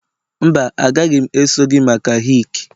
mba, agaghị m eso gị maka hick